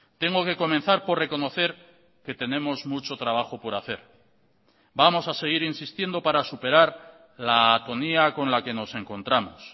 tengo que comenzar por reconocer que tenemos mucho trabajo por hacer vamos a seguir insistiendo para superar la atonía con la que nos encontramos